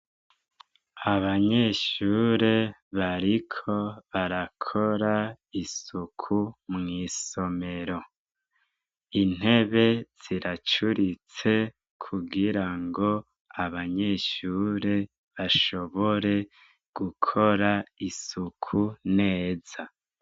Abanyeshure bariko barakora isuku mw'isomero intebe ziracuritse kugira ngo abanyeshure bashobore gukora isuku neza.